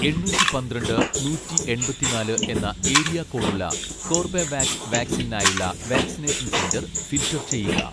എണ്ണൂറ്റി പന്ത്രണ്ട് നൂറ്റി എൺപത്തിനാല് എന്ന ഏരിയ കോഡ് ഉള്ള കോർബെവാക്സ് വാക്സിനിനായുള്ള വാക്സിനേഷൻ സെന്റർ ഫിൽട്ടർ ചെയ്യുക